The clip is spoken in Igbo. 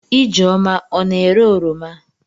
Ijeoma ọ na-ere oroma?